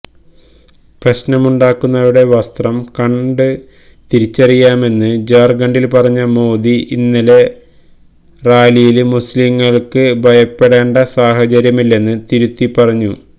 പ്രശ്നമുണ്ടാക്കുന്നവരുടെ വസ്ത്രം കണ്ട് തിരിച്ചറിയാമെന്ന് ജാര്ഖണ്ഡില് പറഞ്ഞ മോദി ഇന്നത്തെ റാലിയില് മുസ്ലീംകള്ക്ക് ഭയപ്പെടേണ്ട സാഹചര്യമില്ലെന്ന് തിരുത്തിപ്പറഞ്ഞു